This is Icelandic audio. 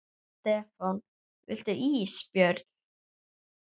Stefán: Viltu ís Björn?